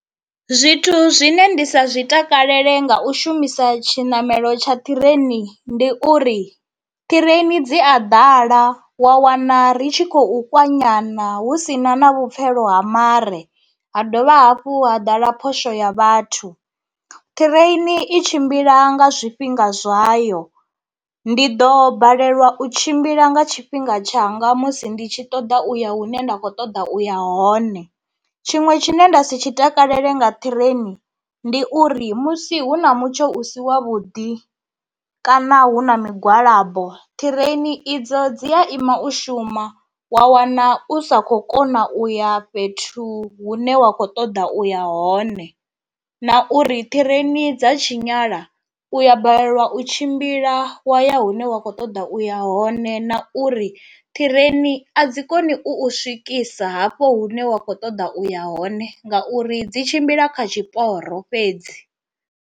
Zwithu zwine ndi sa zwi takalele nga u shumisa tshinamelo tsha ṱireini, ndi uri ṱireini dzi a ḓala wa wana ri tshi khou kwanyana hu sina na vhupfhelo ha mare, ha dovha hafhu ha ḓala phosho ya vhathu. Ṱireini i tshimbila nga zwifhinga zwayo, ndi ḓo balelwa u tshimbila nga tshifhinga tshanga musi ndi tshi ṱoḓa uya hune nda kho ṱoḓa uya hone, tshiṅwe tshine nda si tshi takalele nga ṱireini ndi uri musi hu na mutsho u si wa vhuḓi kana hu na migwalabo ṱireini idzo dzi a ima u shuma wa wana u sa khou kona uya fhethu hune wa kho ṱoḓa uya hone, na uri ṱireni dza tshinyala u ya balelwa u tshimbila wa ya hune wa kho ṱoḓa uya hone na uri ṱireni a dzi koni u swikisa hafho hune wa kho ṱoḓa uya hone ngauri dzi tshimbila kha tshiporo fhedzi.